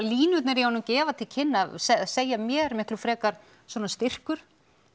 línurnar í honum gefa til kynna eða segja mér miklu frekar svona styrkur